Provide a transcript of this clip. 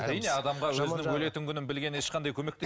әрине адамға өзінің өлетін күнін білгені ешқандай